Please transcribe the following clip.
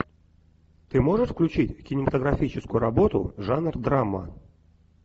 ты можешь включить кинематографическую работу жанр драма